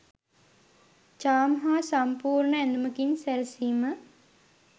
චාම් හා සම්පූර්ණ ඇඳුමකින් සැරසීම